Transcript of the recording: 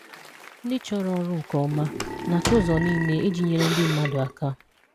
Ndị chọrọ ọrụ nke ọma, na-achọ ụzọ niile iji nyere ndị mmadụ aka.